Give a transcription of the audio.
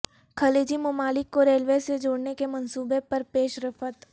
خلیجی ممالک کو ریلوے سے جوڑنے کے منصوبے پر پیش رفت